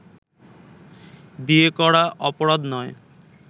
বিয়ে করা অপরাধ নয়